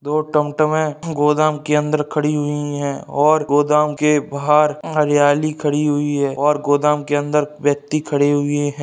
दो टमटम है गोदाम के अंदर खड़ी है और गोदाम के बाहर हरियाली खड़ी हुई है और गोदम के अंदर व्यक्ति खड़ी हुई है।